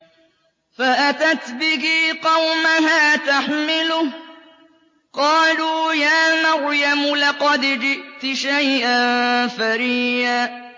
فَأَتَتْ بِهِ قَوْمَهَا تَحْمِلُهُ ۖ قَالُوا يَا مَرْيَمُ لَقَدْ جِئْتِ شَيْئًا فَرِيًّا